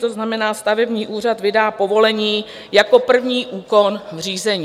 To znamená, stavební úřad vydá povolení jako první úkon v řízení.